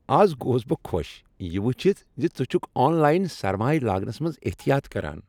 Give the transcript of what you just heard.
از گوس بہ خوش یہ وچھِتھ زِ ژٕ چھکھ آن لاین سرمایہ لاگنس منز احتیاط کران۔